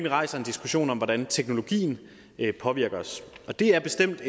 rejser en diskussion om hvordan teknologien påvirker os og det er bestemt